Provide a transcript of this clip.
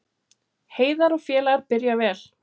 Heiðar og félagar byrja vel